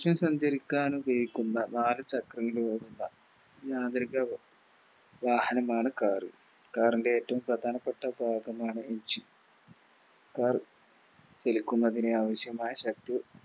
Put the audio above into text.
ന്നിച്ച് സഞ്ചരിക്കാനുപയോഗിക്കുന്ന നാല് ചക്രങ്ങളോടുള്ള മാന്ത്രിക വാഹനമാണ് Car car ൻറെ ഏറ്റോം പ്രധാനപ്പെട്ട ഭാഗമാണ് Engine car വലിക്കുന്നതിനാവശ്യമായ ശക്തി